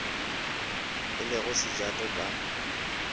e le go sejato ka